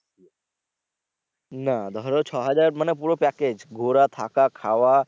না ধরো ছ হাজার মানে পুরো package ঘুরা থাকা খাওয়া।